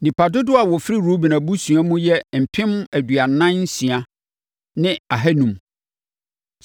Nnipa dodoɔ a wɔfiri Ruben abusuakuo mu yɛ mpem aduanan nsia ne ahanum (46,500).